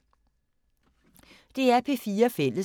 DR P4 Fælles